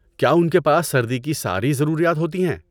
کیا ان کے پاس سردی کی ساری ضروریات ہوتی ہیں؟